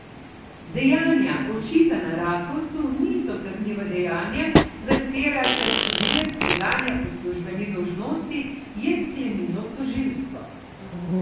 Dejanja, očitana Rakovcu, niso kazniva dejanja, za katera se storilec preganja po službeni dolžnosti, je sklenilo tožilstvo.